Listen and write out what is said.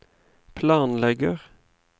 planlegger